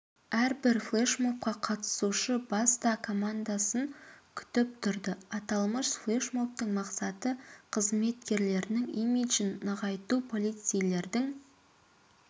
әрбір флешмобқа қатысушы баста командасын күтіп тұрды аталмыш флешмобтың мақсаты қызметкерлерінің имиджін нығайту полицейлердің